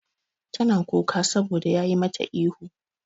Tana kuka saboda yayi mata ihu.